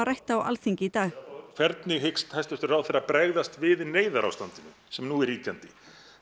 rædd á Alþingi í dag hvernig hyggst hæstvirtur ráðherra bregðast við neyðarástandinu sem nú er ríkjandi